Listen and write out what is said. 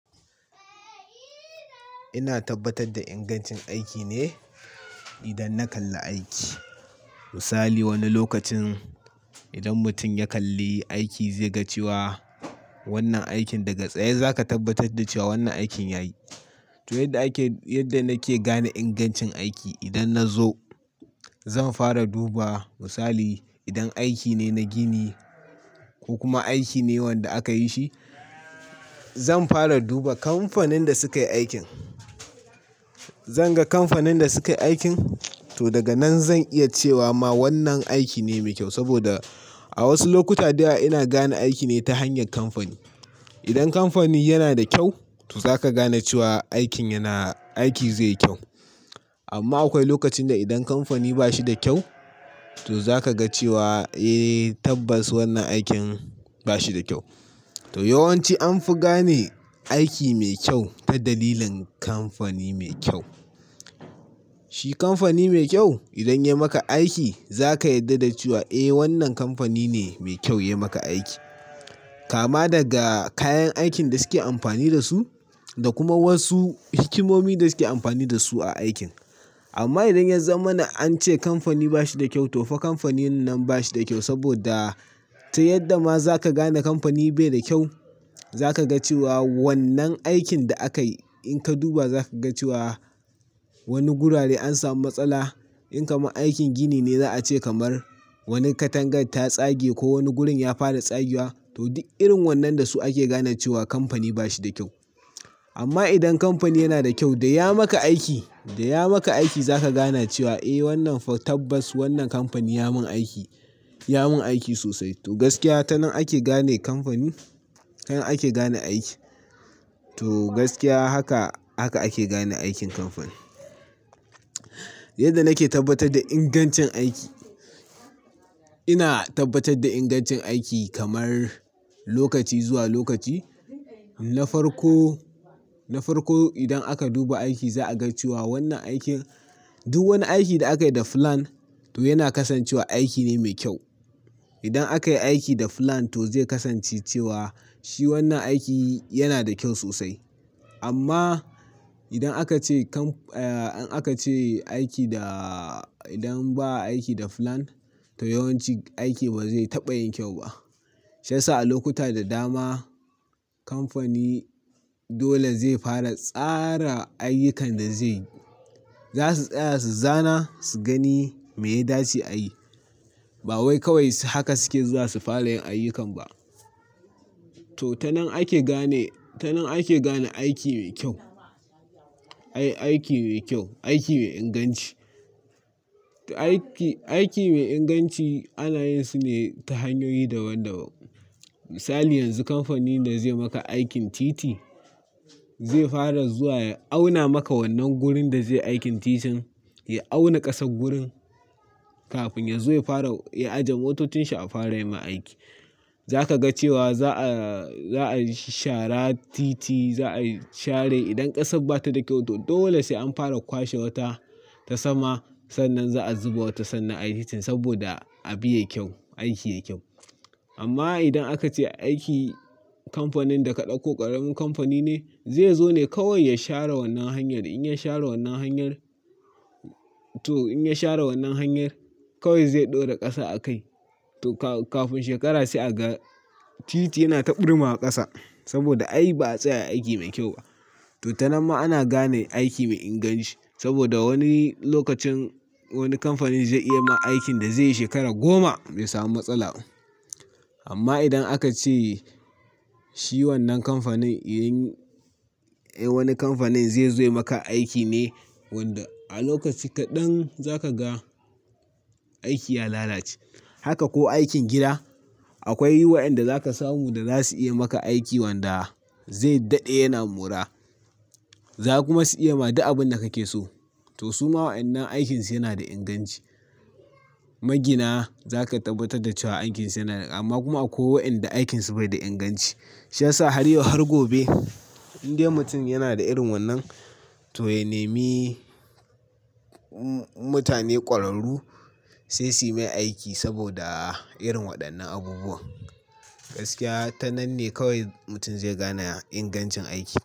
Ina tabbatar da ingancin aiki ne idan na kalli aiki. Misali wani lokacin idan mutum ya kalli aiki zai ga cewa wannan aikin daga tsaye za ka tabbatar da cewa wannan aikin ya yi. To yadda ake, yadda nake gane ingancin aiki idan na zo zan fara duba misali idan aiki ne na gini ko kuma aiki ne wanda aka yi shi, zan fara duba kamfanin da sukayi aikin. Zan ga kamfanin da sukayi aikin to daga nan zan iya cewa ma wannan aiki ne mai kyau saboda a wasu lokuta dayawa ina gane aiki ne ta hanyar kamfani. Idan kamfani yana da kyau to zaka gane cewa aikin yana, aiki zai yi kyau. Amma akwai lokacin da idan kamfani ba shi da kyau to zaka ga cewa eh tabbas wannan aikin ba shi da kyau. To yawanci anfi gane aiki mai kyau ta dalilin kamfani mai kyau. Shi kamfani mai kyau idan ya maka aiki zaka yarda da cewa eh wannan kamfani ne mai kyau ya maka aiki. Kama daga kayan aikin da suke amfani da su da kuma wasu hikimomi da suke amfani da su a aikin. Amma idan yanzamana an ce kamfani ba shi da kyau to fa kamfanin nan ba shi da kyau saboda ta yadda ma zaka gane kamfani bai da kyau zaka ga cewa wannan aikin da aka yi in ka duba za ka ga cewa wani gurare an samu matsala. In kamar aikin gini ne za a ce kamar wani katangar ta tsage ko wani gurin ya fara tsagiya to duk irin wannan da su ake gane cewa kamfani ba shi da kyau. Amma idan kamfani yana da kyau da ya maka aiki, da ya maka aiki za ka gane cewa eh wannan tabbas wannan kamfani ya mun aiki, ya mun aiki sosai. To gaskiya ta nan ake gane kamfani, kan ake gane aiki. To gaskiya haka, haka ake gane aikin kamfani. Yadda nake tabbatar da ingancin aiki, ina tabbatar da ingancin aiki kamar lokaci zuwa lokaci. Na farko, na farko idan aka duba aiki za a ga cewa wannan aikin duk wani aiki da aka yi da fulan to yana kasancewa aiki ne mai kyau. Idan aka yi aiki da fulan to zai kasance cewa shi wannan aiki yana da kyau sosai. Amma idan aka ce kam-- eh an aka ce aiki da idan ba a aiki da fulan to yawanci aiki ba zai taɓa yin kyau ba. Shiyasa a lokuta da dama kamfani dole zai fara tsara ayyukan da zai, za su tsaya su zana su gani me ya dace a yi. Ba wai kawai haka suke za su fara yin ayyukan ba. To ta nan ake gane, ta nan ake gane aiki mai kyau. Ai aiki mai kyau, aiki mai inganci. To aiki, aiki mai inganci alayinsa ne ta hanyoyi daban daban. Misali yanzu kamfanin da zai maka aikin titi zai fara zuwa ya auna maka wannan gurin da zai aikin titin, ya auna ƙasan gurin kafin ya zo ya fara ya ajiye motocin shi a fara yi ma aiki. Za ka ga cewa za'a, za'a shara titi, za'a share idan ƙasan bata da kyau to dole sai an fara kwashe wata ta sama sannan za'a zuba wata sannan a yi titin saboda abu ya kyau, aiki ya kyau. Amma idan aka ce aiki kamfanin da ka ɗauko ƙaramin kamfani ne zai zo ne kawai ya share wannan hanyar. In ya share wannan hanyar to in ya share wannan hanyar kawai zai ɗora ƙasa a kai to ka-kafin shekara sai a ga titi yana ta ɓurma a ƙasa saboda ai ba a tsaya aiki mai kyau ba. To ta nan ma ana gane aiki mai inganci saboda wani lokacin wani kamfani zai iya ma aikin da zai yi shekara goma bai samu matsala ba. Amma idan aka ce shi wannan kamfanin, wani kamfanin zai zo ya maka aiki ne wadda a lokaci kaɗan za ka ga aiki ya lalace. Haka ko aikin gida akwai waɗanda za ka samu da za su iya maka aiki wadda zai daɗe yana mura. Za ku ma su iya ma da abin da kake so to su ma waɗannan aikinsu yana da inganci. Magina za ka tabbatar da cewa aikinsu yana da, amma kuma akwai waɗanda aikinsu bai da inganci. Shan sa har yau har gobe inda mutum yana da irin wannan to ya nemi mutane ƙwararru sai su yi mai aiki saboda irin waɗannan abubuwa. Gaskiya ta nan ne kawai mutum zai gane ingancin aiki.